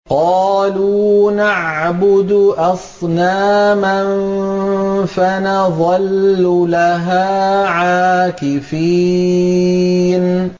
قَالُوا نَعْبُدُ أَصْنَامًا فَنَظَلُّ لَهَا عَاكِفِينَ